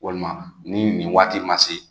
Walima ni nin waati ma se